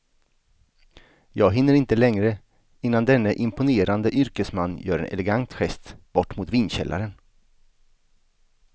Jag hinner inte längre innan denne imponerande yrkesman gör en elegant gest bort mot vinkällaren.